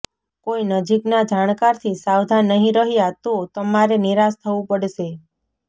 કોઈ નજીકના જાણકારથી સાવધાન નહીં રહ્યા તો તમારે નિરાશ થવું પડશે